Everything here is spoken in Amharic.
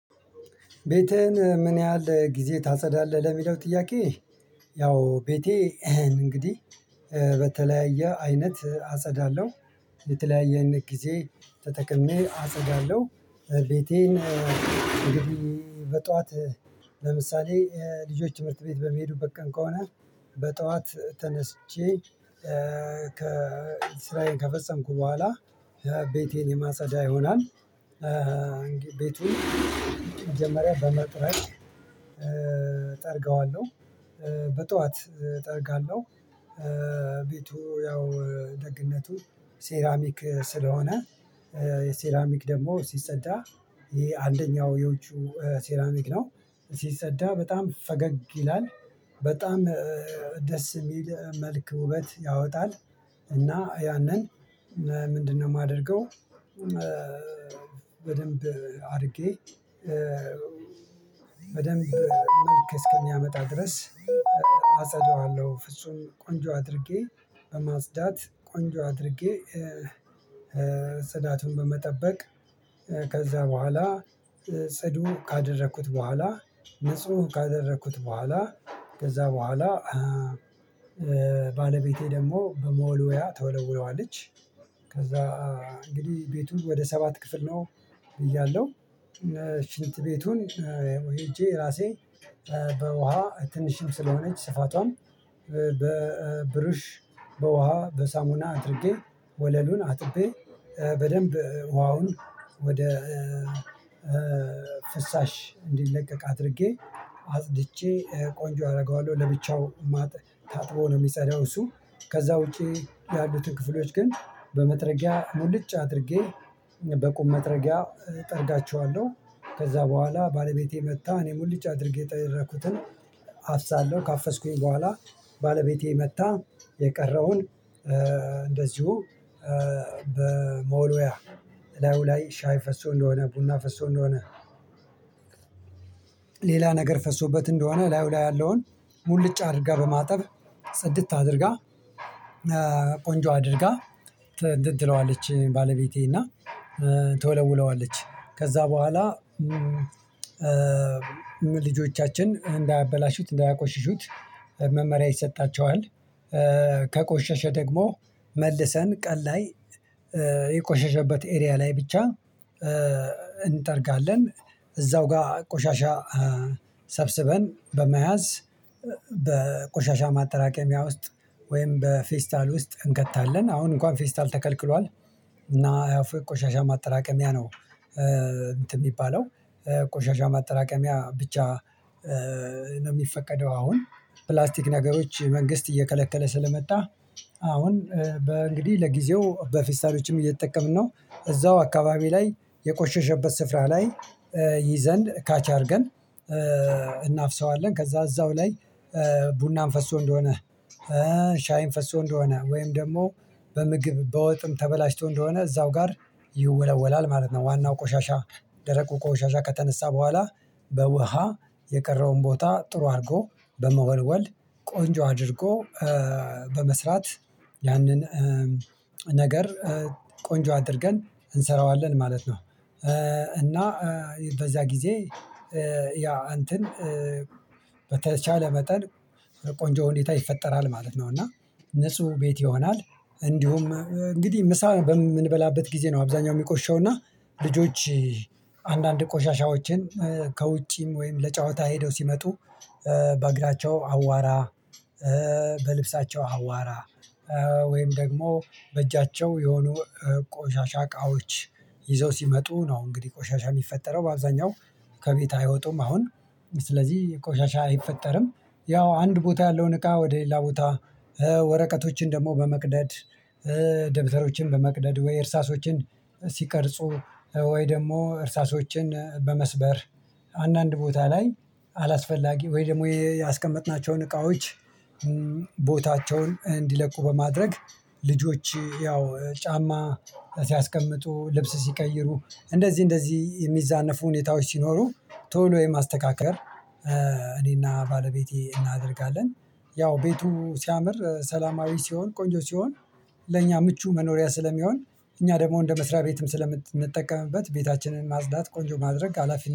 ቤቴን ምን ያህል ጊዜ ታጸዳለህ? ለሚለው ጥያቄ ያው ቤቴ እንግዲህ በተለያየ አይነት አጸዳለሁ። በተለያየ አይነት ጊዜ ተጠቅሜ አጸዳለሁ ቤቴን እንግዲህ በጧት ለምሳሌ ልጆች ትምህርት ቤት በመሄዱበት ቀን ከሆነ በጠዋት ተነስቼ ከስራዬን ከፈጸምኩ በኋላ ቤቴን የማፀዳ ይሆናል። ቤቱን መጀመሪያ በመጥረግ ጠርገዋለሁ በጧት ጠርጋለሁ። ቤቱ ያው ደግነቱ ሴራሚክ ስለሆነ ሴራሚክ ደግሞ ሲፀዳ ይሄ አንደኛው የውጪው ሴራሚክ ነው ሲፀዳ በጣም ፈገግ ይላል በጣም ደስ የሚል መልክ ውበት ያወጣል። እና ያንን ምንድነው የማደርገው? በደንብ አድርጌ በደንብ መልክ እስከሚያመጣ ድረስ አጸዳዋለሁ። ፍጹም ቆንጆ አድርጌ በማፅዳት ቆንጆ አድርጌ ፅዳቱን በመጠበቅ ከዛ በኋላ ጽዱ ካደረኩት በኋላ ንጹህ ካደረኩት በኋላ ከዛ በኋላ ባለቤቴ ደግሞ በመወልወያ ትወለውለዋለች። ከዛ እንግዲህ ቤቱ ወደ ሰባት ክፍል ነው። እያለሁ ሽንት ቤቱን ሄጄ ራሴ በውሃ ትንሽም ስለሆነች ስፋቷም በብሩሽ በውሃ በሳሙና አድርጌ ወለሉን አጥቤ በደንብ ውሃውን ወደ ፍሳሽ እንዲለቀቅ አድርጌ አጽድቼ ቆንጆ አደርገዋለሁ። ለብቻው ማጥ ታጥቦ ነው የሚጸዳው እሱ ከዛ ውጪ ያሉትን ክፍሎች ግን በመጥረጊያ ሙልጭ አድርጌ በቁም መጥረጊያ እጠርጋቸዋለሁ። ከዛ በኋላ ባለቤቴ መጥታ እኔ ሙልጭ አድርጌ የጠረኩትን አፍሳለሁ። ካፈስኩኝ በኋላ ባለቤቴ መጥታ የቀረውን እንደዚሁ በመወልወያ ላይ ሻይ ፈሶ እንደሆነ ቡና ፈሶ እንደሆነ ሌላ ነገር ፈሶበት እንደሆነ ላዩ ላይ ያለውን ሙልጭ አድርጋ በማጠብ ጽድት አድርጋ። ቆንጆ አድርጋ እንትን ትለዋለች ባለቤቴ እና ትወለውለዋለች ከዛ በኋላ ልጆቻችን እንዳያበላሹት እንዳያቆሽሹት መመሪያ ይሰጣቸዋል። ከቆሸሸ ደግሞ መልሰን ቀን ላይ የቆሸሸበት ኤሪያ ላይ ብቻ እንጠርጋለን። እዛው ጋር ቆሻሻ ሰብስበን በመያዝ በቆሻሻ ማጠራቀሚያ ውስጥ ወይም በፌስታል ውስጥ እንከታለን። አሁን እንኳን ፌስታል ተከልክሏል እና ያፍ ቆሻሻ ማጠራቀሚያ ነው። የሚባለው ቆሻሻ ማጠራቀሚያ ብቻ ነው የሚፈቀደው። አሁን ፕላስቲክ ነገሮች መንግስት እየከለከለ ስለመጣ አሁን በእንግዲህ ለጊዜው በፌስታሎችም እየተጠቀምን ነው። እዛው አካባቢ ላይ የቆሸሸበት ስፍራ ላይ ይዘን ካች አድርገን እናፍሰዋለን። ከዛ እዛው ላይ ቡናም ፈሶ እንደሆነ ሻይም ፈሶ እንደሆነ ወይም ደግሞ በምግብ በወጥም ተበላሽቶ እንደሆነ እዛው ጋር ይወለወላል ማለት ነው። ዋናው ቆሻሻ ደረቁ ቆሻሻ ከተነሳ በኋላ በውሃ የቀረውን ቦታ ጥሩ አድርጎ በመወልወል ቆንጆ አድርጎ በመስራት ያንን ነገር ቆንጆ አድርገን እንሰራዋለን ማለት ነው። እና በዛ ጊዜ ያ እንትን በተቻለ መጠን ቆንጆ ሁኔታ ይፈጠራል ማለት ነው። እና ንጹህ ቤት ይሆናል። እንዲሁም እንግዲህ ምሳ በምንበላበት ጊዜ ነው አብዛኛው የሚቆሽሸው እና ልጆች አንዳንድ ቆሻሻዎችን ከውጪም ወይም ለጨዋታ ሄደው ሲመጡ። በእግራቸው አዋራ በልብሳቸው አዋራ ወይም ደግሞ በእጃቸው የሆኑ ቆሻሻ እቃዎች ይዘው ሲመጡ ነው እንግዲህ ቆሻሻ የሚፈጠረው በአብዛኛው ከቤት አይወጡም። አሁን ስለዚህ ቆሻሻ አይፈጠርም። ያው አንድ ቦታ ያለውን እቃ ወደ ሌላ ቦታ ወረቀቶችን ደግሞ በመቅደድ ደብተሮችን በመቅደድ ወይ እርሳሶችን ሲቀርጹ ወይ ደግሞ እርሳሶችን በመስበር አንዳንድ ቦታ ላይ አላስፈላጊ ወይ ደግሞ ያስቀመጥናቸውን እቃዎች ቦታቸውን እንዲለቁ በማድረግ ልጆች ያው ጫማ ሲያስቀምጡ ልብስ ሲቀይሩ እንደዚህ እንደዚህ የሚዛነፉ ሁኔታዎች ሲኖሩ ቶሎ የማስተካከል እኔና ባለቤቴ እናደርጋለን። ያው ቤቱ ሲያምር ሰላማዊ ሲሆን ቆንጆ ሲሆን ለእኛ ምቹ መኖሪያ ስለሚሆን እኛ ደግሞ እንደ መስሪያ ቤትም ስለምንጠቀምበት ቤታችንን ማጽዳት ቆንጆ ማድረግ ሀላፊ።